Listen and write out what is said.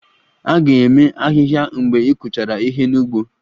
A ga-eme ahịhịa mgbe ị kụchara ihe n'ugbo